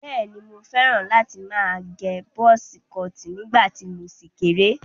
Bẹ́ẹ̀ni, mo fẹ́ràn láti má agẹ bọ́sí kọọ̀tì nígbà tí mo ṣì kéré.